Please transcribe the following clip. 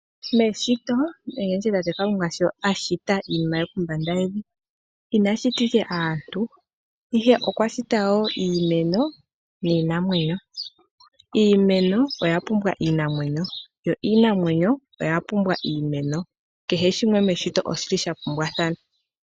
Meshito oyendji shi tate Kalunga a shita iinima ye kombanda yevi, ina shita ike aantu. Ihe okwa shita wo iimeno niinamwenyo. Iimeno oya pumbwa iinamwenyo, yo iinamwenyo oya pumbwa iimeno. Kehe shimwe meshito oshi li sha pumbwathana.